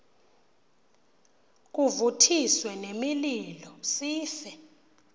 kuvuthiswe nemililo sife